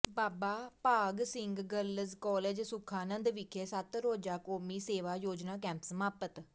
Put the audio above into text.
ਬਾਬਾ Bhag Singh girls college Sukhanand ਵਿਖੇ ਸੱਤ ਰੋਜ਼ਾ ਕੌਮੀ ਸੇਵਾ ਯੋਜਨਾ ਕੈਂਪ ਸਮਾਪਤ